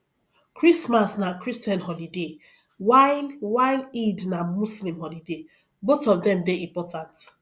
christmas na christian holiday while while eid na muslim holiday both of dem dey important